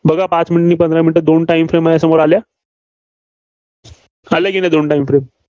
बघा पाच minute नी, पंधरा minute त दोन time frame समोर आल्या. आल्या की नाही दोन time frame